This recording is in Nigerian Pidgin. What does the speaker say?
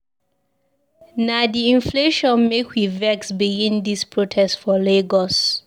Na di inflation make we vex begin dis protest for Lagos.